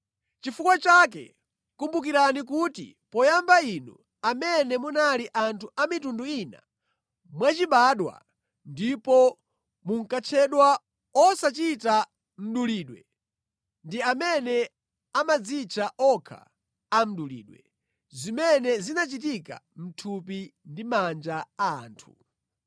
Chifukwa chake kumbukirani kuti poyamba inu amene munali anthu a mitundu ina mwachibadwa ndipo munkatchedwa “osachita mdulidwe” ndi amene amadzitcha okha “a mdulidwe” (zimene zinachitika mʼthupi ndi manja a anthu).